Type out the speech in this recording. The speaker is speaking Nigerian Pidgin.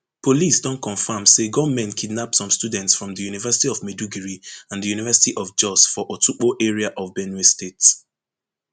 police don confam say gunmen kidnap some students from di university of maiduguri and di university of jos for otukpo area of benue state